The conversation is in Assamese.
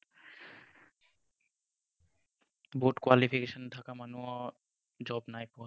বহুত qualification থকা মানুহেও job নাই পোৱা।